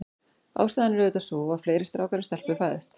Ástæðan er auðvitað sú, að fleiri strákar en stelpur fæðast.